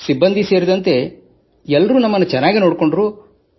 ಸಿಬ್ಬಂದಿ ಸೇರಿದಂತೆ ಎಲ್ಲರೂ ನಮ್ಮನ್ನು ಬಹಳ ಚೆನ್ನಾಗಿ ನೋಡಿಕೊಂಡರು